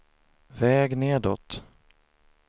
väg nedåt